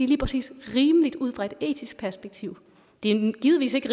lige præcis rimeligt ud fra et etisk perspektiv det er givetvis ikke